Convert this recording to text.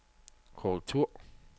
korrektur